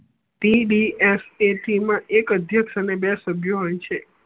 T B S K C મા એક અધ્યક્ષ અને બે સભ્ય હોય છે